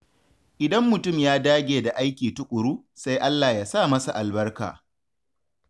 Idan mutum ya dage da aiki tuƙuru, sai Allah ya sa masa albarka.